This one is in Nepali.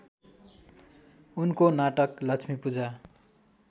उनको नाटक लक्ष्मीपूजा